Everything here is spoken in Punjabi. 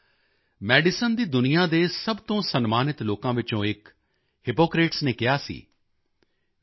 ਸਾਥੀਓ ਮੈਡੀਸਨ ਦੀ ਦੁਨੀਆਂ ਦੇ ਸਭ ਤੋਂ ਸਨਮਾਨਿਤ ਲੋਕਾਂ ਵਿੱਚੋਂ ਇਕ ਹਿਪੋਕਰੇਟਸ ਨੇ ਕਿਹਾ ਸੀ